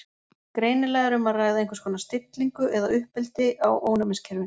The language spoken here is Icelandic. greinilega er um að ræða einhvers konar stillingu eða uppeldi á ónæmiskerfinu